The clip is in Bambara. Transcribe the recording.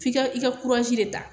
F'i ka i ka de ta.